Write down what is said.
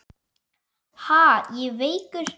Ha, ég veikur!